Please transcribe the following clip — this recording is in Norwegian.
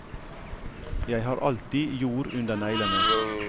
Jeg har alltid jord under neglene.